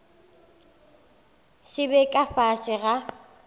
se be ka fase ga